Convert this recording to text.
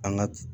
An ka